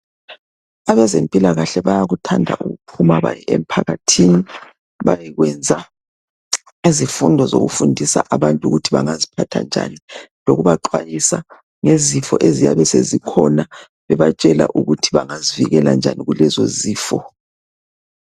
Abezempila kahle bayakuthanda ukuphuma baye emphakathini bayekwenza izifundo zokufundisa abantu ukuthi bangaziphatha njani loku baxhwayisa ngezifo eziyabe sezikhona bebatshela ukuthi bengazivikela njani kulezi zifo.